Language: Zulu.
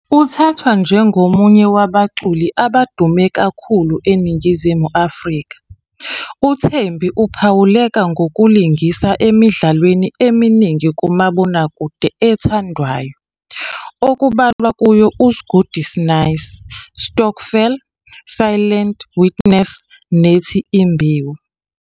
Uthathwa njengomunye wabaculi abadume kakhulu eNingizimu Afrika, uThembi uphawuleka ngokulingisa emidlalweni eminingi kamabonakude ethandwayo okubalwa kuyo "uSgudi 'Snaysi", "Stokvel", "Silent Witness" nethi "Imbewu."